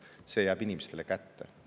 See raha jääb inimestele kätte.